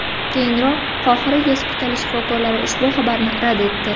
Keyinroq Qohira gospitali shifokorlari ushbu xabarni rad etdi .